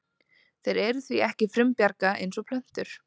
Þeir eru því ekki frumbjarga eins og plöntur.